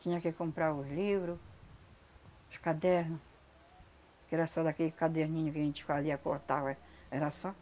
Tinha que comprar os livro, os caderno, que era só daquele caderninho que a gente fazia cortava, era só.